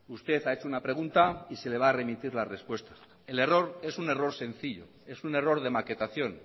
usted ha hecho una pregunta y se le va a remitir la respuesta el error es un error sencillo es un error de maquetación